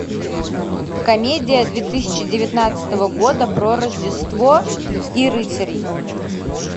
комедия две тысячи девятнадцатого года про рождество и рыцарей